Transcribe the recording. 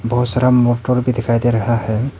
बहोत सारा मोटर भी दिखाई दे रहा है।